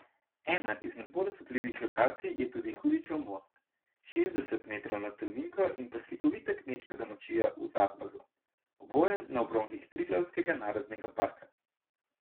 Ena izmed bolj osupljivih lokacij je tudi Hudičev most, šestdeset metrov nad Tolminko, in pa slikovita kmečka domačija v Zadlazu, oboje na obronkih Triglavskega narodnega parka.